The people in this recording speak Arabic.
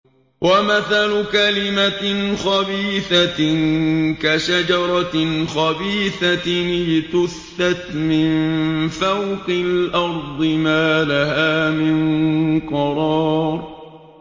وَمَثَلُ كَلِمَةٍ خَبِيثَةٍ كَشَجَرَةٍ خَبِيثَةٍ اجْتُثَّتْ مِن فَوْقِ الْأَرْضِ مَا لَهَا مِن قَرَارٍ